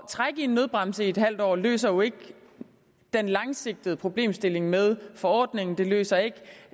trække i nødbremsen i et halvt år løser jo ikke den langsigtede problemstilling med forordningen det løser ikke